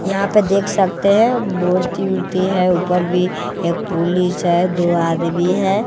यहां पर देख सकते हैं मूर्ति वुर्ति है ऊपर भी एक पुलिस है दो आदमी है।